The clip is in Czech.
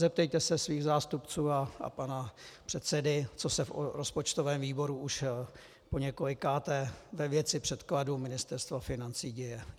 Zeptejte se svých zástupců a pana předsedy, co se v rozpočtovém výboru už poněkolikáté ve věci předkladů Ministerstva financí děje.